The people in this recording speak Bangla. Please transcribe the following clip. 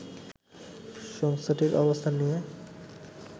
সংস্থাটির অবস্থান নিয়ে